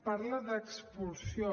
parla d’expulsió